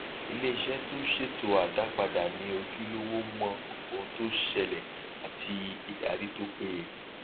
iléiṣẹ tó ṣètò àdápadà ní ojúlówó mọ ohun tó ṣẹlẹ àti ìdarí tó péye